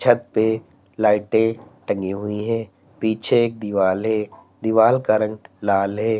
छत पे लाइटें टंगी हुई हैं पीछे एक दीवाल है। दीवाल का रंग लाल है।